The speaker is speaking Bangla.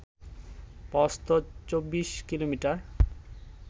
প্রস্থ ২৪ কিমি